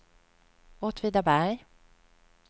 Åtvidaberg